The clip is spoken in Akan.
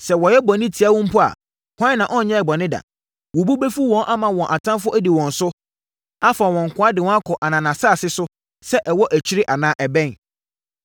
“Sɛ wɔyɛ bɔne tia wo mpo a, hwan na ɔnyɛɛ bɔne da? Wo bo bɛfu wɔn ama wɔn atamfoɔ adi wɔn so, afa wɔn nkoa de wɔn akɔ ananasase so, sɛ ɛwɔ akyiri anaa ɛbɛn.